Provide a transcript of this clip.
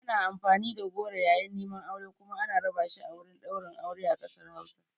Ana amfani da goro yayin neman aure kuma ana raba shi a wurin ɗaurin aure a ƙasar Hausa.